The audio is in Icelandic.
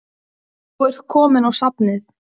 Nú ert þú kominn í safnið.